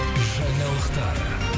жаңалықтар